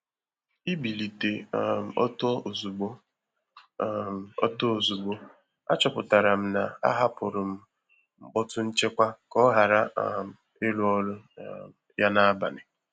Íbílité um ọ́tọ́ ózugbó, um ọ́tọ́ ózugbó, àchọ́pụ́tará m ná àhápụ́rụ́ m mkpọ́tú nchékwà ká ọ́ ghárá um írụ́ ọ́rụ́ um yá n’ábalì.